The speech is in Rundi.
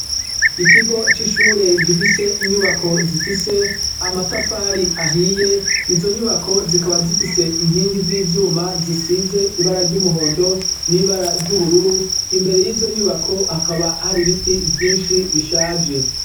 Ikigo c'ishure gifise inyubako zifise amatafari ahiye, izo nyubako zikaba zifise inkingi z'ivyuma ,zisize ibara ry'umuhondo n'ibara ry'ubururu, imbere y'izo nyubako hakaba hari biti vyinshi bishaje.